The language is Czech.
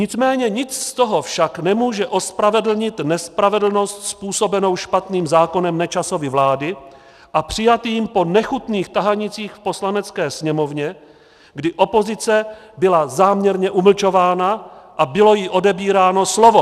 Nicméně nic z toho však nemůže ospravedlnit nespravedlnost způsobenou špatným zákonem Nečasovy vlády a přijatým po nechutných tahanicích v Poslanecké sněmovně, kdy opozice byla záměrně umlčována a bylo jí odebíráno slovo.